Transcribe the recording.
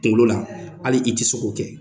Kunkolo la hali i ti se k'o kɛ.